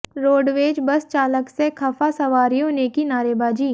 roadways bus चालक से खफा सवारियों ने की नारेबाजी